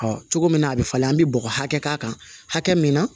cogo min na a bɛ falen an bi bɔgɔ hakɛ k'a kan hakɛ min na